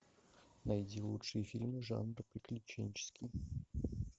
найди лучшие фильмы жанра приключенческий